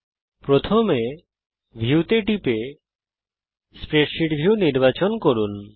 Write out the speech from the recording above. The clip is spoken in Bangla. মেনু আইটেম ভিউ নির্বাচন করুন এবং তারপর স্প্রেডশীট ভিউ নির্বাচন করুন